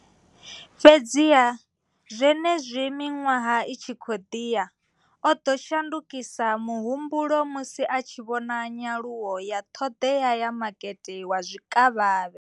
Fhedziha, zwenezwi miṅwaha i tshi khou ḓi ya, o ḓo shandukisa muhumbulo musi a tshi vhona nyaluwo ya ṱhoḓea ya makete wa zwikavhavhe.